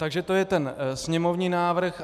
Takže to je ten sněmovní návrh.